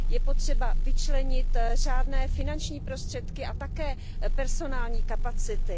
Je potřeba vyčlenit řádné finanční prostředky a také personální kapacity.